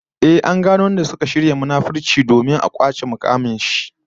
Ehh, an gano wadanda suka shirya munafunci domin a kwace mukamin shi